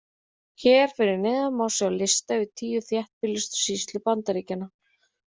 Hér fyrir neðan má sjá lista yfir tíu þéttbýlustu sýslur Bandaríkjanna.